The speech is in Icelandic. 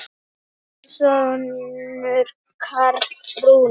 Þinn sonur Karl Rúnar.